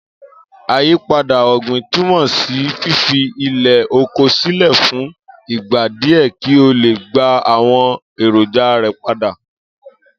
Àyípadà ò̩gbìn túmò̩ sí fífi ilè̩ oko sílè̩ fún ìgbà díè̩ kí ó lè gba àwo̩n èrònja rè̩ padá